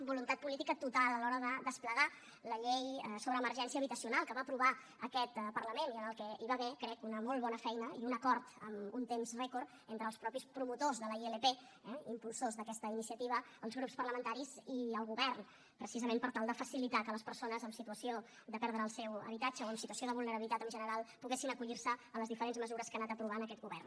voluntat política total a l’hora de desplegar la llei sobre emergència habitacional que va aprovar aquest parlament i en què hi va haver crec una molt bona feina i un acord amb un temps rècord entre els mateixos promotors de la ilp impulsors d’aquesta iniciativa els grups parlamentaris i el govern precisament per tal de facilitar que les persones en situació de perdre el seu habitatge o en situació de vulnerabilitat en general poguessin acollir se a les diferents mesures que ha anat aprovant aquest govern